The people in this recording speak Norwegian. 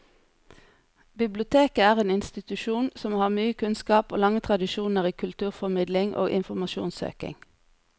Biblioteket er en institusjon som har mye kunnskap og lange tradisjoner i kulturformidling og informasjonssøking.